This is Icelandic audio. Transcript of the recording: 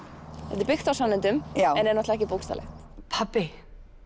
þetta er byggt á sannindum en er ekki bókstaflegt pabbi